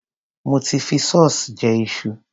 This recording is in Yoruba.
Mo ti fi sauce jẹ iṣu.